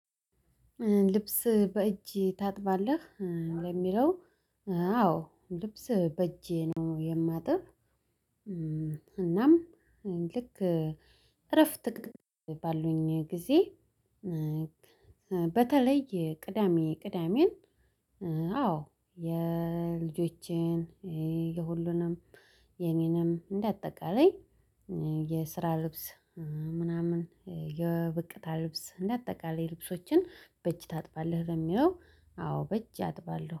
ልብስ በእጅ ታጥባለህ? ለሚለው አዎ ልብስ በእጄ ነው የማጥብ እናም ልክ እረፍት ባሉኝ ጊዜ በተለይ ቅዳሜ ቅዳሜን አዎ የልጆቼን የሁሉንም የኔንም እንደ አጠቃላይ የስራ ልብስ ምናምን የብቅታ ልብስ እንደ አጠቃላይ ልብሶችን በእጅ ታጥባለህ? ለሚለው አዎ በእጅ አጥባለሁ።